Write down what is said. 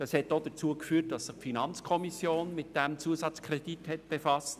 Es hat auch dazu geführt, dass sich die FiKo mit diesem Zusatzkredit befasste.